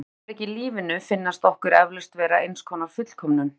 Sum augnablik í lífinu finnast okkur eflaust vera eins konar fullkomnun.